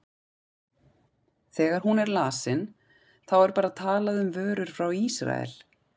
Þegar hún er lesin, þá er bara talað um vörur frá Ísrael?